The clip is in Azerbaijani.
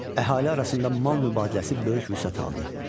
Əhali arasında mal mübadiləsi böyük vüsət aldı.